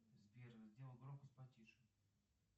сбер сделай громкость потише